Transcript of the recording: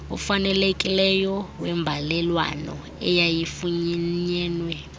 ofanelekileyo wembalelwano eyayifunyenwe